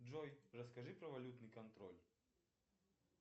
джой расскажи про валютный контроль